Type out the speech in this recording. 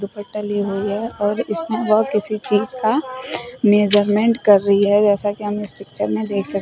दुपट्टा ली हुई है और इसमें वह किसी चीज का मेजरमेंट कर रही है जैसा कि हम इस पिक्चर में देख सक--